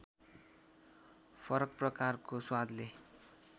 फरक प्रकारको स्वादले